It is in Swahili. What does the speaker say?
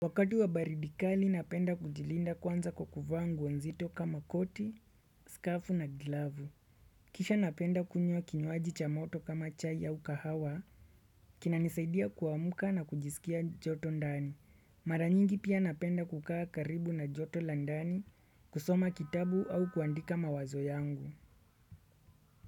Wakati wa baridi kali napenda kujilinda kwanza kwa kuvaa nguo nzito kama koti, skafu na glavu. Kisha napenda kunywa kinywaji cha moto kama chai au kahawa, kinanisaidia kuamka na kujisikia joto ndani. Mara nyingi pia napenda kukaa karibu na joto la ndani, kusoma kitabu au kuandika mawazo yangu.